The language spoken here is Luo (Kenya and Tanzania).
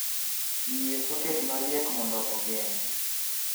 yie soket mariek mondo ogeng'